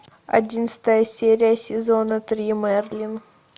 одиннадцатая серия сезона три мерлин